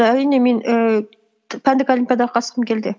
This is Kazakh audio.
і әрине мен ііі пәндік олимпиадаға қатысқым келді